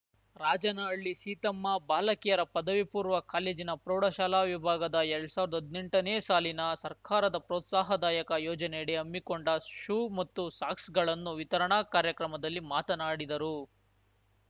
ರಾಜನಹಳ್ಳಿ ಸೀತಮ್ಮ ಬಾಲಕಿಯರ ಪದವಿ ಪೂರ್ವ ಕಾಲೇಜಿನ ಪ್ರೌಢಶಾಲಾ ವಿಭಾಗದ ಎಲ್ಡ್ ಸಾವ್ರ್ದಾ ಹದ್ನೆಂಟನೇ ಸಾಲಿನ ಸರ್ಕಾರದ ಪ್ರೋತ್ಸಾಹದಾಯಕ ಯೋಜನೆಯಡಿ ಹಮ್ಮಿಕೊಂಡ ಶೂ ಮತ್ತು ಸಾಕ್ಸ್‌ಗಳನ್ನು ವಿತರಣಾ ಕಾರ್ಯಕ್ರಮದಲ್ಲಿ ಮಾತನಾಡಿದರು